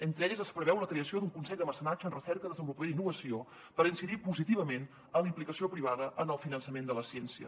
entre elles es preveu la creació d’un consell de mecenatge en recerca desenvolupament i innovació per incidir positivament en la implicació privada en el finançament de la ciència